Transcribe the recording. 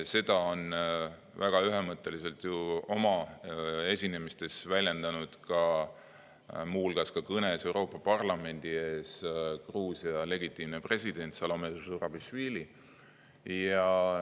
Seda on väga ühemõtteliselt oma esinemistes, muu hulgas ka kõnes Euroopa Parlamendi ees väljendanud Gruusia legitiimne president Salome Zurabišvili.